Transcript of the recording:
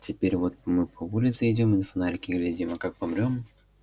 теперь вот мы по улице идём и на фонарики глядим а как помрём